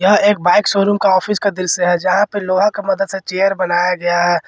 यह एक bike showroom का ऑफिस का दृश्य से है जहां पे लोहा का मदद से चेयर बनाया गया है।